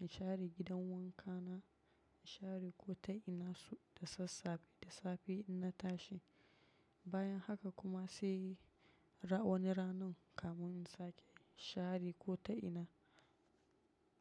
in share gidan wanka na, in share ƙotai ina su da sassafe, da safe in na tashi. Bayan haka kuma sai wani ranun kamun in sake share ƙotai ina.